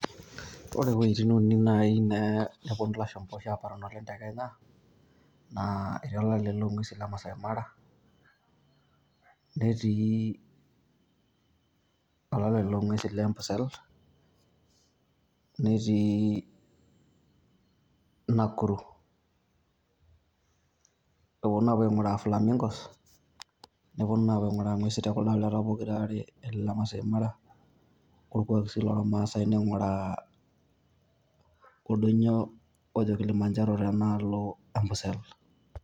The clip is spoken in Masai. Ore eweitin uni oshi naaponu ilashumpa amanimanaa tekenya naa etii olale long'usi leMasai Mara, netii olale long'usi lempusel, netii olale Nakuru eponu aapuo aing'uraa Flamingos neponu aapuo aing'uraa ing'uesin tekuldo aleta pokira aare leMasai Mara orkuak sii lormasae oldoinyio le Kilimanjaro tedaalo empusel.